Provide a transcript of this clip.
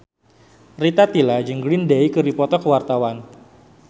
Rita Tila jeung Green Day keur dipoto ku wartawan